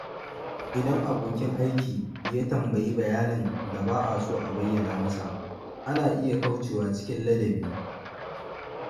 Idan abokin aiki ya tambayi bayanin da ba a so a bayyana masa, ana iya kaucewa cikin ladabi.